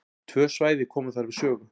Tvö svæði koma þar við sögu.